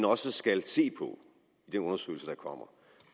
også skal se på i den undersøgelse der kommer